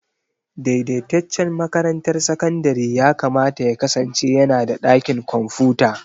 Daidaitaccen makarantar sakandare yakamata ya kasance yana da ɗakin kwamfuta.